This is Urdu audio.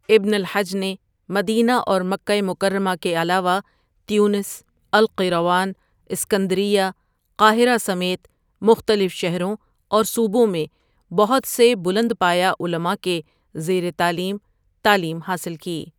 ابن الحجؒ نے مدینہ اور مکہ مکرمہ کے علاوہ تیونس ، القیراوان ، اسکندریہ ، قاہرہ سمیت مختلف شہروں اور صوبوں میں بہت سے بلند پایہ علماء کے زیرِ تعلیم تعلیم حاصل کی.